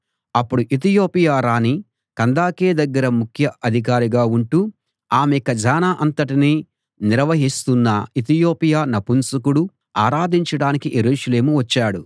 అప్పుడు ఇథియోపియా రాణి కందాకే దగ్గర ముఖ్య అధికారిగా ఉంటూ ఆమె ఖజానా అంతటినీ నిర్వహిస్తున్న ఇథియోపియా నపుంసకుడు ఆరాధించడానికి యెరూషలేము వచ్చాడు